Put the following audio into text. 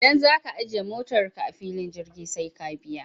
Idan za ka ajiye motarka a filin jirgi sai ka biya.